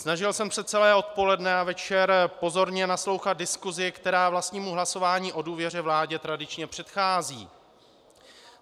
Snažil jsem se celé odpoledne a večer pozorně naslouchat diskusi, která vlastnímu hlasování o důvěře vládě tradičně předchází.